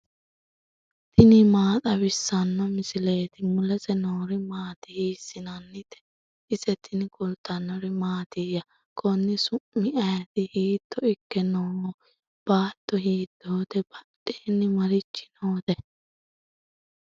tini maa xawissanno misileeti ? mulese noori maati ? hiissinannite ise ? tini kultannori mattiya? Konni su'mi ayiitti? hiitto ikke nooho? baatto hiittotte? badheenni marichi nootte?